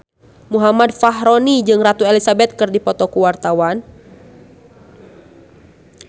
Muhammad Fachroni jeung Ratu Elizabeth keur dipoto ku wartawan